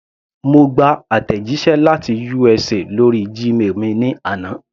Mo gba àtẹ̀jíṣẹ́ láti USA lórí Gmail mi ní àná.